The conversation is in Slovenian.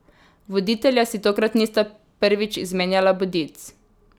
Voditelja si tokrat nista prvič izmenjala bodic.